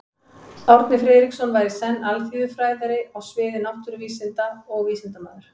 Árni Friðriksson var í senn alþýðufræðari á sviði náttúruvísinda og vísindamaður.